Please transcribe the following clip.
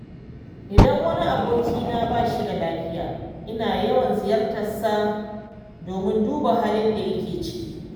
Idan wani abokina ba shi da lafiya, ina yawan ziyartarsa domin duba halin da yake ciki.